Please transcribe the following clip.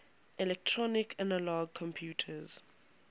electronic analog computers